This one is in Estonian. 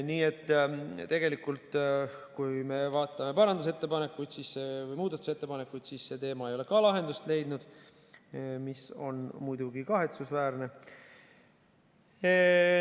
Nii et tegelikult, kui me vaatame muudatusettepanekuid, siis see teema ei ole ka lahendust leidnud, mis on muidugi kahetsusväärne.